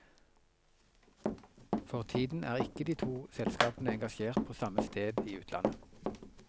For tiden er ikke de to selskapene engasjert på samme sted i utlandet.